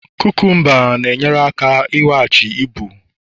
cucumbers na-enyere aka iweghachi ibu